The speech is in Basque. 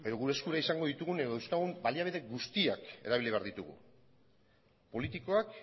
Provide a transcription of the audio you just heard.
gure eskura izango ditugun edo dauzkagun baliabide guztiak erabili behar ditugu politikoak